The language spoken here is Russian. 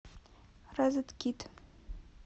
розеткид